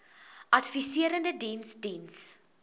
adviserende diens diens